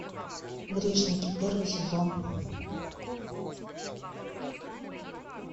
грешники первый сезон